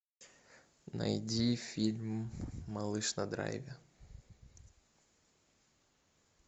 найди фильм малыш на драйве